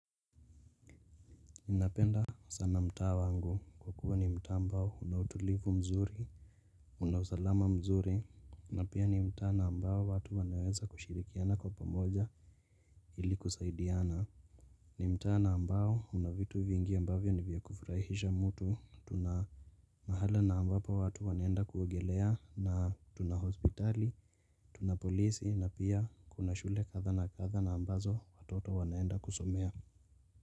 Ninapenda sana mtaa wangu kwa kuwa ni mtaa ambao una utulivu mzuri. Una usalama mzuri. Na pia ni mtaa na ambao watu wanaweza kushirikiana kwa pamoja ili kusaidiana. Ni mta na ambao una vitu vingi ambavyo ni vya kufurahisha mtu. Tuna mahala na ambapo watu wanaenda kuogelea na tuna hospitali tuna polisi na pia kuna shule kadha na kadha na ambazo watoto wanaenda kusomea.